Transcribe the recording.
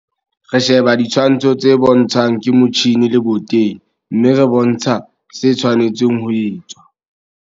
Re sheba ditshwantsho tse bontshwang ke motjhine leboteng, mme re bontsha se tshwanetseng ho etswa.